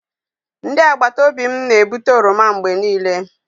Ndị agbata obi m na-ebute oroma mgbe niile.